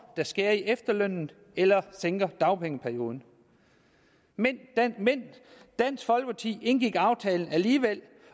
der skærer i efterlønnen eller sænker dagpengeperioden men dansk folkeparti indgik aftalen alligevel